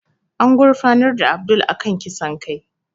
An gurfanar da Abdul a kan kisan kai